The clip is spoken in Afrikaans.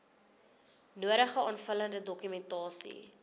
nodige aanvullende dokumentasie